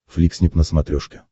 фликснип на смотрешке